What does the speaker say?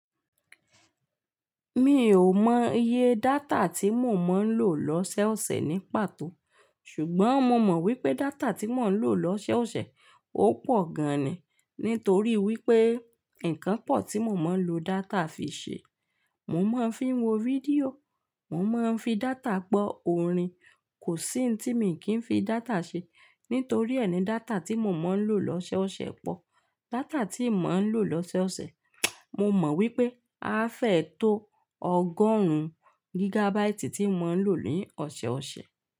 Mi ò mọ iye data tí mo máa ń lò lọ́sẹ̀ ọ̀sẹ̀ ní pàtó. Ṣùgbọ́n mo mọ̀ wípé data tí mò ń lò lọ́sẹ̀ ọ̀sẹ̀ ó pọ̀ gan ni. Nítorí wípé ǹkan pọ̀ tí mo máa ń lo data fi ṣe. Mo máa ń fi wo fídíò, mo máa ń fi data gbọ́ orin. Kò sí ohun tí mi kì ń fi data ṣe. Nítorí ẹ́ ni data tí mo máa ń lò lọ́sẹ̀ ọ̀sẹ̀ pọ̀. Data tí mò ń lò lọ́sẹ̀ ọ̀sẹ̀, mo mọ̀ wípé á fẹ́ tó ọgọ́rùn-ún gigabaiti tí mò ń lò ní ọ̀sẹ̀ ọ̀sẹ̀.